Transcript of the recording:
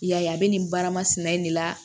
I y'a ye a bɛ nin baara masina in de la